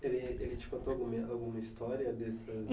Ele te contou alguma história?